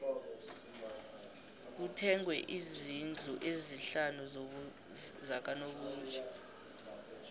kuthengwe izndlu ezisihlanu zakanobutjho